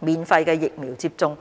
免費疫苗接種。